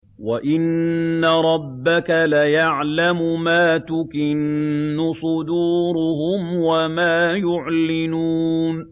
وَإِنَّ رَبَّكَ لَيَعْلَمُ مَا تُكِنُّ صُدُورُهُمْ وَمَا يُعْلِنُونَ